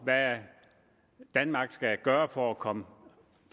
hvad danmark skulle gøre for at komme